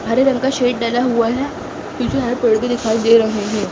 हरे रंग का सेड डाला हुआ है पीछे हरे पेड़ भी दिखाई दे रहे हैं।